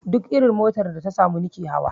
Duk irin motar da ta samu nike hawa